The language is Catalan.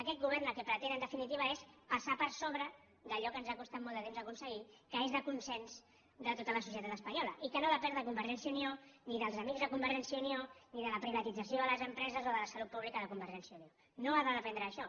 aquest govern el que pretén en definitiva és passar per sobre d’allò que ens ha costat molt de temps aconseguir que és de consens de tota la societat espanyola i que no depèn de convergència i unió ni dels amics de convergència i unió ni de la privatització de les empreses o de la salut pública de convergència i unió no ha de dependre d’això